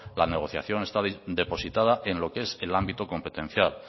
la negociación estaba depositada en lo que es el ámbito competencial